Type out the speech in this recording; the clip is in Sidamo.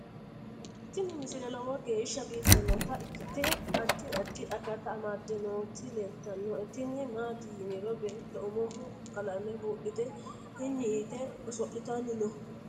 tini misile lowo geeshsha biiffannota ikkite addi addi akata amadde nooti leeltannoe tini maati yiniro beeetto umoho qalame buudhite hinyi yite oso'litanni no